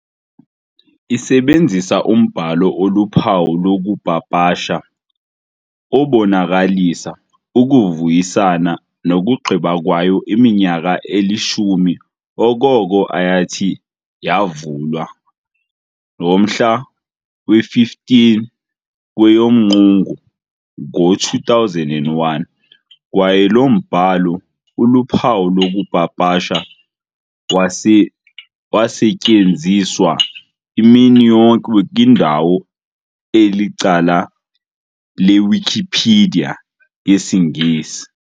Isebenzisa umbhalo oluphawu lokupapasha, obonakalisa, ukuvuyisana nokugqiba kwayo iminyaka eli-10 okoko ayathi yavulwa ngomhla we-15 kweyomQungu ngo2001, kwaye lo mbhalo uluphawu lokupapasha wasetyenziswa imini yonke kwindawo elicala lewikipedia yesiNgesi.